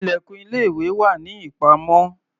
Ilẹ̀kùn ilé-ìwé wà ní ìpamọ́.